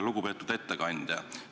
Lugupeetud ettekandja!